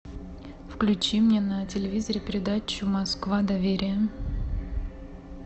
включи мне на телевизоре передачу москва доверие